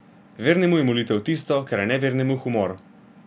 Vernemu je molitev tisto, kar je nevernemu humor.